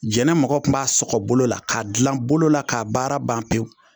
Jɛnɛ mɔgɔ kun b'a sɔgɔ bolo la k'a dilan bolo la k'a baara ban pewu.